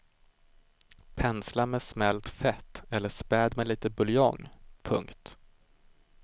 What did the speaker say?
Pensla med smält fett eller späd med lite buljong. punkt